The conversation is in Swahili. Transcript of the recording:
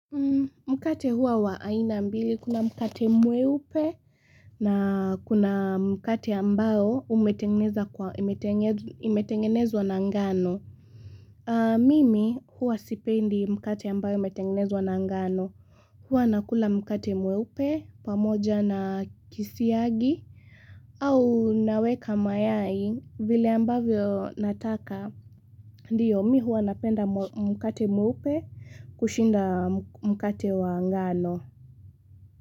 Mkate huwa wa aina mbili kuna mkate mweupe, na kuna mkate ambao imetengenezwa na ngano. Mimi huwa sipendi mkate ambayo imetengenezwa na ngano. Huwa nakula mkate mweupe pamoja na kisiagi, au naweka mayai vile ambavyo nataka. Ndio, mi huwa napenda mkate mweupe kushinda mkate wa ngano.